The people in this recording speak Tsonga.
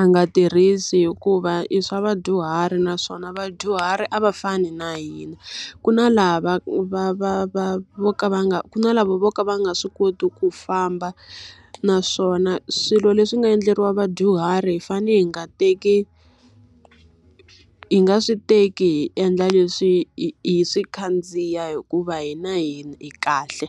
a nga tirhisi hikuva i swa vadyuhari naswona vadyuhari a va fani na hina. Ku na lava va va va vo ka va nga ku na lava vo ka va nga swi koti ku famba, naswona swilo leswi nga endleriwa vadyuhari hi fanele hi nga teki hi nga swi teki hi endla leswi hi hi swi khandziya hikuva hina hi hi kahle.